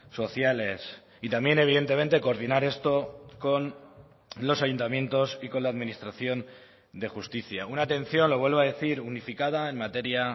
sociales y también evidentemente coordinar esto con los ayuntamientos y con la administración de justicia una atención lo vuelvo a decir unificada en materia